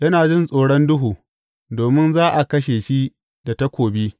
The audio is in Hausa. Yana jin tsoron duhu domin za a kashe shi da takobi.